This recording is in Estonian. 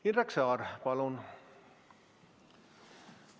Indrek Saar, palun!